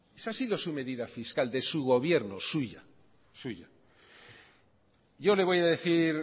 esa ha sido su medida fiscal de su gobierno suya yo le voy a decir